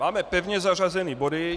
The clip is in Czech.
Máme pevně zařazené body.